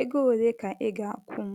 ego ole ka ị ga - akwụ m? ”